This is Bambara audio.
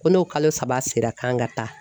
Ko n'o kalo saba sera k'an ka taa.